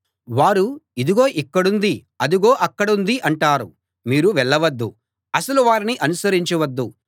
వారు ఇదిగో ఇక్కడుంది అదిగో అక్కడుంది అంటారు మీరు వెళ్ళవద్దు అసలు వారిని అనుసరించవద్దు